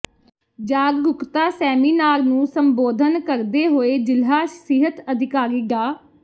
ਜਾਗਰੂਕਤਾ ਸੈਮੀਨਾਰ ਨੂੰ ਸੰਬੋਧਨ ਕਰਦੇ ਹੋਏ ਜ਼ਿਲ੍ਹਾ ਸਿਹਤ ਅਧਿਕਾਰੀ ਡਾ